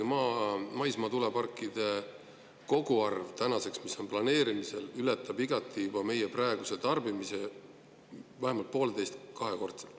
On ka teada, et maismaatuuleparkide koguarv, mis on tänaseks planeerimisel, ületab juba igati meie praeguse tarbimise – vähemalt pooleteist-, kahekordselt.